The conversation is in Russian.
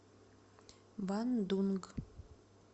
бандунг